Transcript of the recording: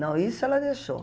Não, isso ela deixou.